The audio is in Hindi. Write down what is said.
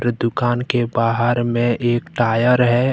दुकान के बाहर में एक टायर है।